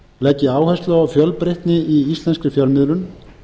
leggi áherslu á fjölbreytni í íslenskri fjölmiðlun